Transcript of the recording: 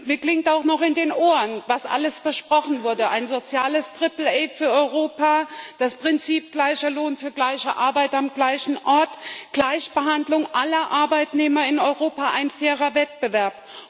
Mir klingt auch noch in den Ohren, was alles versprochen wurde ein soziales Triple A für Europa, das Prinzip gleicher Lohn für gleiche Arbeit am gleichen Ort, Gleichbehandlung aller Arbeitnehmer in Europa, ein fairer Wettbewerb.